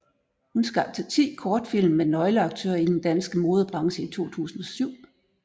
Hun skabte ti kortfilm med nøgleaktører i den danske modebranche i 2007